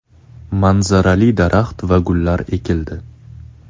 Manzarali daraxt va gullar ekildi.